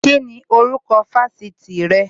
Kíni orúkọ Fásitì rẹ?